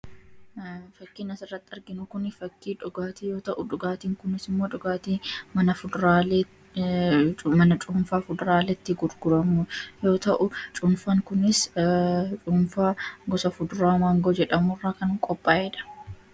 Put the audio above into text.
Fakkiin asirratti arginu fakkii dhugaatii yoo ta'u, dhugaatiin kunis immoo dhugaatii mana cuunfaa fuduraaleetti gurguramudha. Cuunfaa kunis gosa fuduraa maangoo jedhamu irraa kan qophaa'edha.